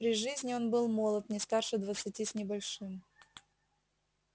при жизни он был молод не старше двадцати с небольшим